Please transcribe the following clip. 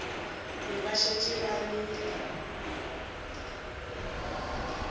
be ba šetše ba le